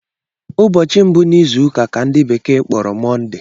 Ụbọchi mbu n’ịzụụka ka ndi bekee kpọrọ Mọnde